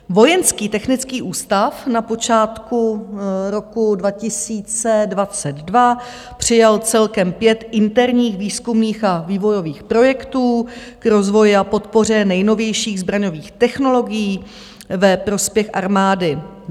Vojenský technický ústav na počátku roku 2022 přijal celkem pět interních výzkumných a vývojových projektů k rozvoji a podpoře nejnovějších zbraňových technologií ve prospěch armády.